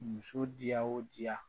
Muso di ya o di ya